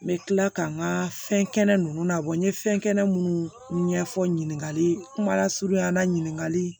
N bɛ tila ka n ka fɛnkɛnɛ ninnu labɔ n ye fɛnkɛnɛ minnu ɲɛfɔ ɲininkali kumala surunyana ɲininkali